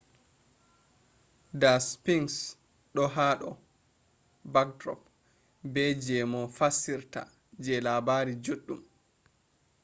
da sphinx do hado backdrop be je moh fassirta je labari juddum